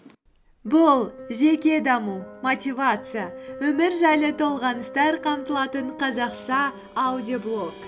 бұл жеке даму мотивация өмір жайлы толғаныстар қамтылатын қазақша аудиоблог